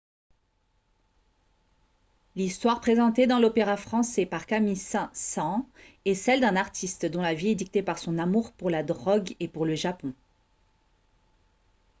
l'histoire présentée dans l'opéra français par camille saint-saens est celle d'un artiste « dont la vie est dictée par son amour pour la drogue et pour le japon »